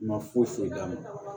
Ma foyi foyi d'a ma